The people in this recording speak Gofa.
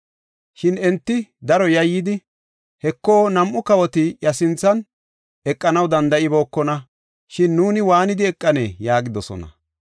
Shin enti daro yayyidi, “Heko, nam7u kawoti iya sinthan eqanaw danda7ibookona, shin nuuni waanidi eqanee?” yaagidosona.